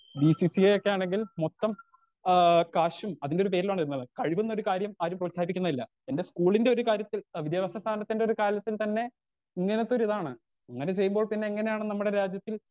Speaker 2 B C C A ഒക്കെയാണെങ്കിൽ മൊത്തം ആ കാശും അതിന്റൊരു പേരിലാണ് വരുന്നത് കഴിവ്ന്നൊരു കാര്യം ആരും പ്രോത്സാഹിപ്പിക്കുന്നില്ലാ എന്റെ സ്കൂലിന്റൊരു കാര്യത്തിൽ ആ വിദ്യാഭ്യാസ സ്ഥാപനത്തിന്റൊരു കാലത്തിൽ തന്നെ ഇങ്ങനത്തൊരിതാണ് ഇങ്ങനെ ചെയ്യുമ്പോൾ പിന്നെ എങ്ങനെയാണ് നമ്മുടെ രാജ്യത്തിൽ.